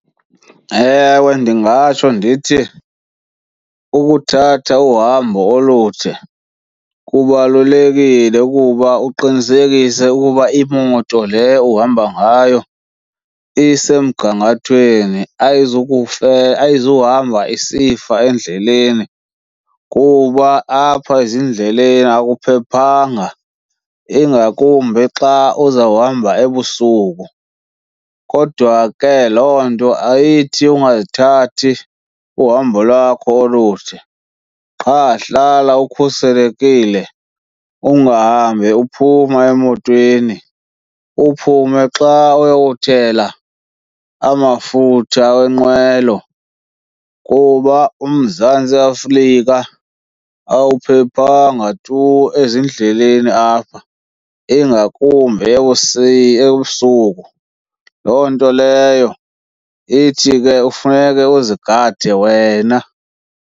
Ewe, ndingatsho ndithi ukuthatha uhambo olude kubalulekile ukuba uqinisekise ukuba imoto le uhamba ngayo isemgangathweni ayizuhamba isifa endleleni kuba apha ezindleleni akuphephanga ingakumbi xa uzawuhamba ebusuku. Kodwa ke loo nto ayithi ungathathi uhambo lwakho olude, qha hlala ukhuselekile ungahambi uphuma emotweni uphume xa uyokuthela amafutha wenqwelo kuba uMzantsi Afrika awuphephanga tu ezindleleni apha ingakumbi ebusuku. Loo nto leyo ithi ke kufuneke uzigade wena.